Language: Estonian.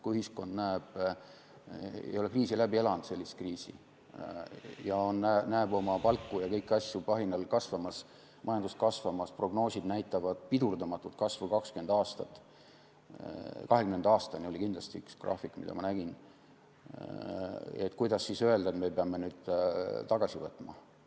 Kui ühiskond ei ole sellist kriisi läbi elanud ja näeb palku ja kõiki asju kohinal kasvamas, majandust kasvamas, prognoosid näitavad pidurdamatut kasvu 20 aastat – kahekümnenda aastani oli kindlasti üks graafik, mida ma olen näinud –, siis kuidas öelda, et me peame nüüd tagasi võtma.